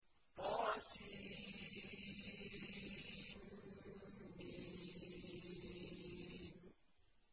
طسم